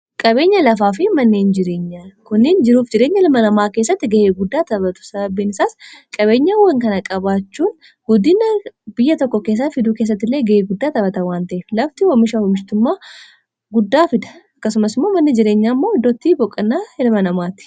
qabeenya lafaa fi mannehin jireenya kuniin jiruuf jireenya hilmanamaa keessatti ga'ee guddaa tapatu sababiinsaas qabeenya an kana-qabaachuun guddina biyya tokko keessaa fiduu kessattillee ga'e guddaa taphata waan ta'e lafti hoomisha humishtummaa guddaa fida akkasumasmao manni jireenya immoo iddootti boqanaa hilma namaati